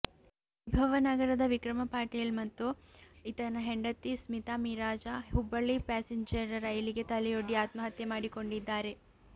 ವೈಭವ ನಗರದ ವಿಕ್ರಮ ಪಾಟೀಲ ಮತ್ತು ಇತನ ಹೆಂಡತಿ ಸ್ಮೀತಾ ಮಿರಜ ಹುಬ್ಬಳ್ಳಿ ಪ್ಯಾಸೇಂಜರ ರೈಲಿಗೆ ತೆಲೆಯೊಡ್ಡಿ ಆತ್ಮಹತ್ಯೆ ಮಾಡಿಕೊಂಡಿದ್ದಾರೆ